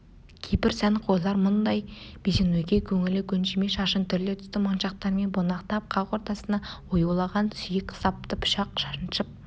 кейбір сәнқойлар мұндай безенуге көңілі көншімей шашын түрлі түсті моншақтармен бунақтап қақ ортасына оюлаған сүйек сапты пышақ шаншып